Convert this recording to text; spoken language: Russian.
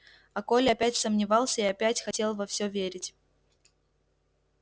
а коля опять сомневался и опять хотел во все верить